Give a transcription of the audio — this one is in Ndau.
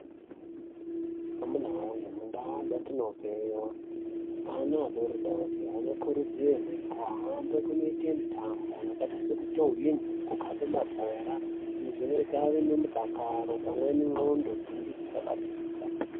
Amuna wee mundaa dzatinobveyo ana adoridori anokurudzirwe kuhambe kunoite mitambo yakaita sekutuhwina kukhabe mabhora. Izvi zvinoita ave nemudakaro pamwe nendxondo dzenge dzakapinza.